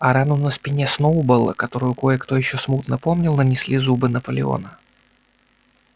а рану на спине сноуболла которую кое-кто ещё смутно помнил нанесли зубы наполеона